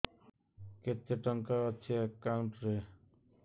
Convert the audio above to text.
କେତେ ଟଙ୍କା ଅଛି ଏକାଉଣ୍ଟ୍ ରେ